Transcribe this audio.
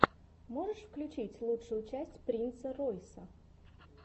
можешь включить лучшую часть принца ройса